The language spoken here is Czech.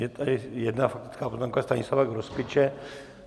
Je tady jedna faktická poznámka Stanislava Grospiče.